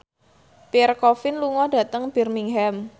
Pierre Coffin lunga dhateng Birmingham